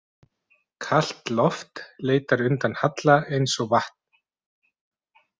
Kalt loft leitar undan halla eins og vatn.